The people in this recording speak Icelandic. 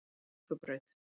Njarðvíkurbraut